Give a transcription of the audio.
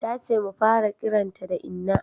Ta ce mu fara kiranta da inna